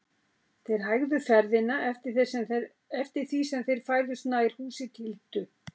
Þeir hægðu ferðina eftir því sem þeir færðust nær húsi Tildu.